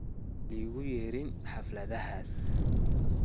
Malikuyerin hafladhas.